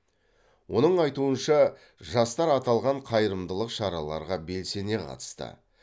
оның айтуынша жастар аталған қайырымдылық шараларға белсене қатысты